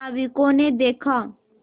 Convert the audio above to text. नाविकों ने देखा